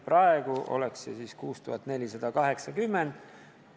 Praegu oleks see 6480 eurot.